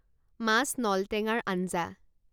মাছ নলটেঙাৰ আঞ্জা